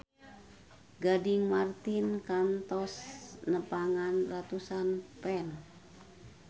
Gading Marten kantos nepungan ratusan fans